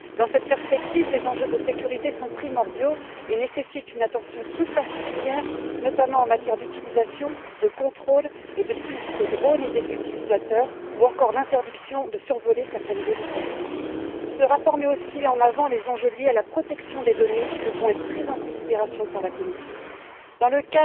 Dans cette perspective, les enjeux de sécurité sont primordiaux et nécessitent une attention toute particulière, notamment en matière d'utilisation, de contrôle et de suivi des drones et des utilisateurs ou encore d'interdiction de survoler certaines zones sensibles. Ce rapport met aussi en avant les enjeux liés à la protection des données, qui devront être pris en considération par la Commission. Il faudra également, dans